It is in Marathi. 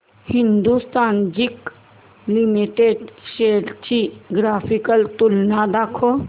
हिंदुस्थान झिंक लिमिटेड शेअर्स ची ग्राफिकल तुलना दाखव